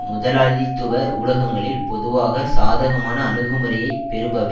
முதலாளித்துவ ஊடகங்களில் பொதுவாக சாதகமான அணுகுமுறையை பெறுபவை